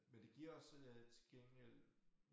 Men det giver også øh til gengæld